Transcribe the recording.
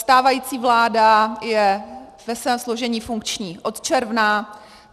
Stávající vláda je ve svém složení funkční od června.